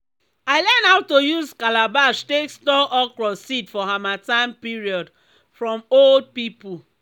i learn how to use calabash take store okro seed for harmattan period from old pipo.